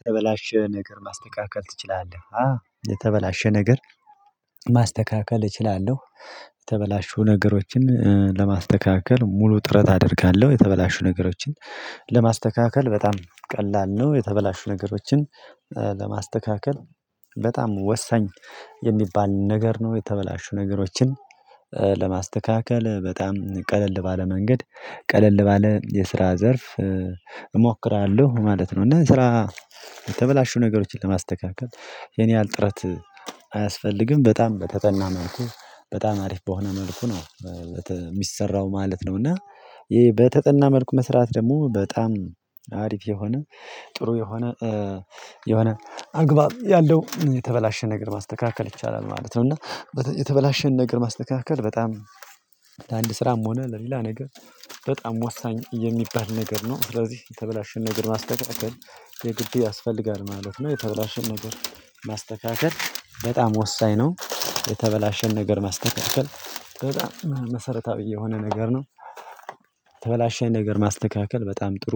የተበላሸ ነገር ማስተካከል ትችላለህ? የተበላሸ ነገር ማስተካከል እችላለሁ። የተበላሹ ነገሮችን ለማስተካከል ሙሉ ጥረት አደርጋለሁ የተበላሹ ነገሮችን ለማስተካከል በጣም ቀላል ነው። የተበላሹ ነገሮችን ለማስተካከል በጣም ወሳኝ የሚባል ነገር ነው። የተበላሹ ነገሮችን ለማስተካከል በጣም ቀለል ባለ መንገድ ቀለል ባለ የስራ ዘርፍ እሞክራለሁ ማለት ነው። እና ስራ የተበላሹ ነገሮችን ለማስተካከል የኔ ያህል ጥረት አያስፈልግም በጣም በተጠና መልኩ በጣም አሪፍ በሆነ መልኩ ነው የሚሰራው ማለት ነው። እና ይሄ በተጠና መልኩ መስራት ደግሞ በጣም አሪፍ የሆነ ጥሩ የሆነ የሆነ አግባብ ያለው የተበላሸ ነገር ማስተካከል ይቻላል ማለት ነው። እና የተበላሸን ነገር ማስተካከል በጣም ለአንድ ስራም ሆነ ለሌላ ነገር በጣም ወሳኝ የሚባል ነገር ነው። ስለዚህ የተበላሸን ነገር ማስተካከል የግድ ያስፈልጋል ማለት ነው። የተበላሸን ነገር ማስተካከል በጣም ወሳኝ ነው። የተበላሸን ነገር ማስተካከል መሰረታዊ የሆነ ነገር ነው። ተበላሸኝ ነገር ማስተካከል በጣም ጥሩ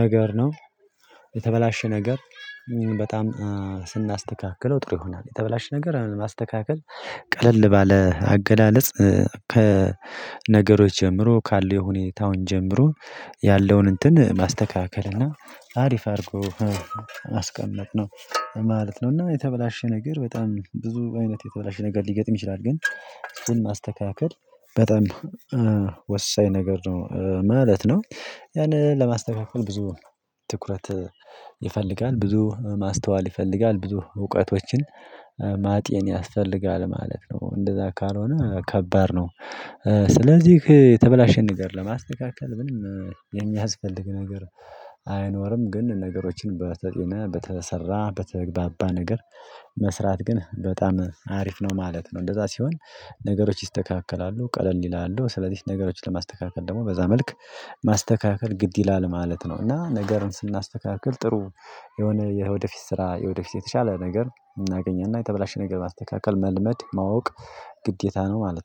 ነገር ነው። የተበላሸ ነገር በጣም ስናስተካክለው ጥሩ ይሆናል የተበላሸ ነገር ማስተካከል ቀለል ባለ አገላለጽ ከነገሮች ጀምሮ ካለው የሁኔታውን ጀምሮ ያለውን እንትን ማስተካከል እና አሪፍ አድርጎ አስቀመጥነው ማለት ነው። እና የተበላሸ ነገር በጣም ብዙ አይነት የተበላሸ ነገር ሊገጥም ይችላል ግን ስል ማስተካከል በጣም ወሳኝ ነገር ነው ማለት ነው። ያንን ለማስተካከል ብዙ ትኩረት ይፈልጋል ብዙ ማስተዋል ይፈልጋል ብዙ እውቀቶችን ማጤን ያስፈልጋል ማለት ነው እንደዛ ካልሆነ ከባድ ነው። ስለዚህ የተበላሸ ነገር ለማስተካከል የሚያስፈልግ ነገር አይኖርም ግን ነገሮችን በተጤነ በተሰራ በተግባባ ነገር መስራት ግን በጣም አሪፍ ነው ማለት ነው። እንደዛ ሲሆን ነገሮች ይስተካከላሉ ቀለል ይላሉ ስለዚህ ነገሮችን ለማስተካከል ደግሞ በዛ መልክ ማስተካከል ግድ ይላል ማለት ነው። እና ነገርን ስናስተካክል ጥሩ የሆነ የወደፊት ስራ የወደፊት የተሻለ ነገር እናገኛለን እና የተበላሸ ነገር ማስተካከል መልመድ ማወቅ ግዴታ ነው ማለት ነው